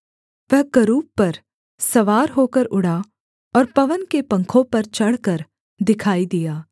वह करूब पर सवार होकर उड़ा और पवन के पंखों पर चढ़कर दिखाई दिया